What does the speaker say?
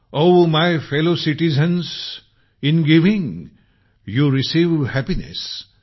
oh my fellow citizens in giving you receive happiness